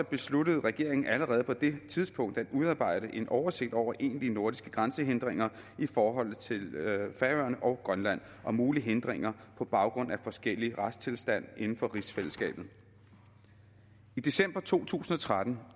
besluttede regeringen allerede på det tidspunkt at udarbejde en oversigt over egentlige nordiske grænsehindringer i forhold til færøerne og grønland og mulige hindringer på baggrund af forskellige retstilstande inden for rigsfællesskabet i december to tusind og tretten